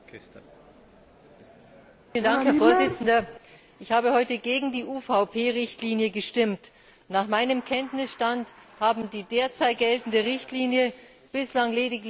Herr Präsident! Ich habe heute gegen die UVP Richtlinie gestimmt. Nach meinem Kenntnisstand haben die derzeit geltende Richtlinie bislang lediglich zwei Mitgliedstaaten umgesetzt.